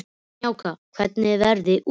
Snjáka, hvernig er veðrið úti?